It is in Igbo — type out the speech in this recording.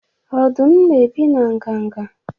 Ọdụm na-ebi na nganga?